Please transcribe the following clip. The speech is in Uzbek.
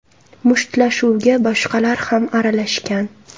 Mushtlashuvga boshqalar ham aralashgan.